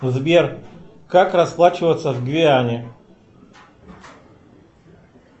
сбер как расплачиваться в гвиане